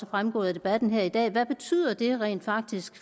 fremgået af debatten her i dag og som hvad betyder det rent faktisk